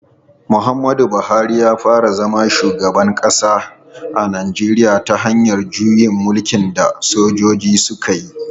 Muhammadu Buhari ya fara zama shugaban kasa a Najeriya ta hanyar juyin mulkin da sojoji suka yi.